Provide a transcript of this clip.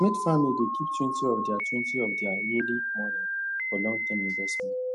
smith family dey keep twenty of their twenty of their yearly money for longterm investment